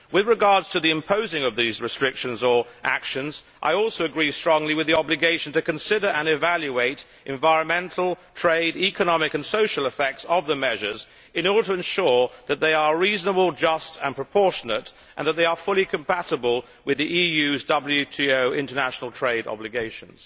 With regard to the imposing of these restrictions or actions, I also agree strongly with the obligation to consider and evaluate the environmental, trade, economic and social effects of the measures in order to ensure that they are reasonable, just and proportionate and that they are fully compatible with the EU's WTO international trade obligations.